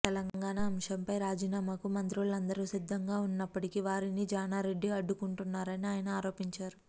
తెలంగాణపై అంశంపై రాజీనామాకు మంత్రులందరూ సిద్ధంగా ఉన్నప్పటికి వారిని జానారెడ్డి అడ్డుకుంటున్నారని ఆయన ఆరోపించారు